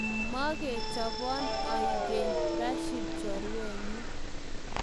Mokechobon aengeny Rashid chorwenyu.